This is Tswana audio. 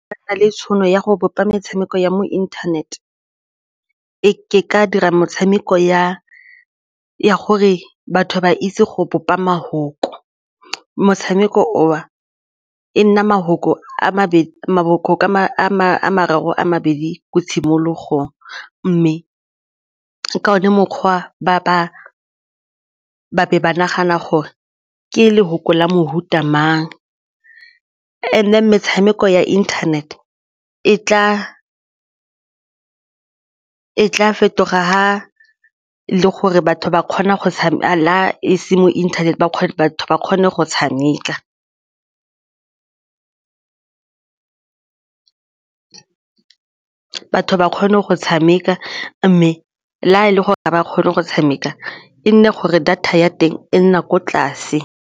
Ba na le tšhono ya go bopa metshameko ya mo internet-e, ke ka dira motshameko ya ya gore batho ba itse go bopa mafoko, motshameko o e nna mafoko a mabedi mafoko a mabedi ko tshimologong mme ka one mokgwa ba be ba nagana gore ke lefoko la mefuta mang and-e metshameko ya internet e tla fetoga ga gore batho ba kgona go a la ese mo internet ba kgone batho ba kgone go tshameka batho ba kgone go tshameka mme le ga e le gore ga ba kgone go tshameka e nne gore data ya teng e nna ko tlase.